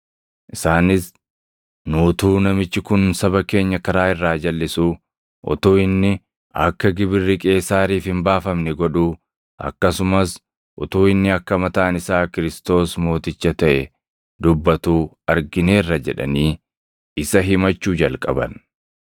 Isaanis, “Nu utuu namichi kun saba keenya karaa irraa jalʼisuu, utuu inni akka Gibirri Qeesaariif hin baafamne godhuu, akkasumas utuu inni akka mataan isaa Kiristoos + 23:2 yookaan Masiihii mooticha taʼe dubbatuu argineerra” jedhanii isa himachuu jalqaban.